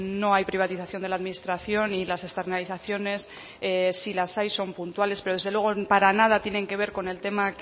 no hay privatización de la administración y las externalizaciones si las hay son puntuales pero desde luego para nada tienen que ver con el tema